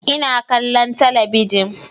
Ina kallon talabijin